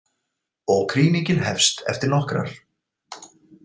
Og krýningin hefst eftir nokkrar.